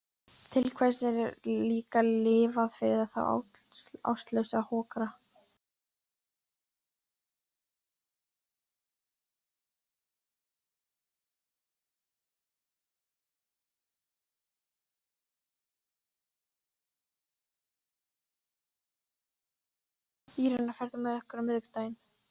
Írena, ferð þú með okkur á miðvikudaginn?